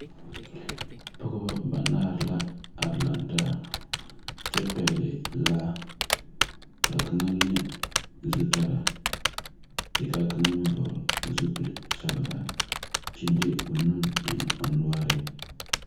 Pɔgba banaare la arẽ lang taa kye pɛgli laa kaa kanga le zutaraa kye ka kanga meng vɔgli zupile sɔglaa kye de ɔ nu eng ɔ noɔring.